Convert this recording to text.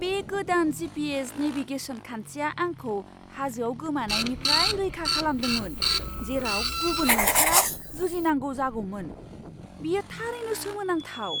बे गोदान GPS. Navigation खान्थिया आंखौ हाजोआव गोमानायनिफ्राय रैखा खालामदोंमोन, जेराव गुबुन मोनसेया जुजिनांगौ जागौमोन। बेयो थारैनो सोमोनांथाव!